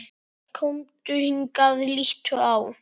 Komdu hingað, líttu á!